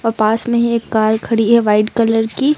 और पास मे एक कार खड़ी है वाइट कलर की।